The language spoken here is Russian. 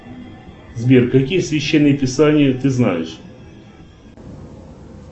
сбер какие священные писания ты знаешь